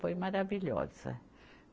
Foi maravilhosa.